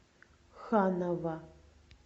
ханова